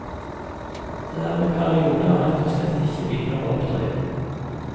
Det er i perioder rett og slett ikke biler å oppdrive.